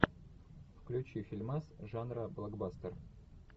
включи фильмас жанра блокбастер